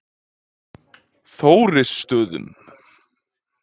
Þórisstöðum